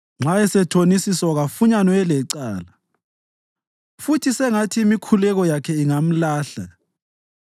Nxa esethonisiswa kafunyanwe elecala, futhi sengathi imikhuleko yakhe ingamlahla.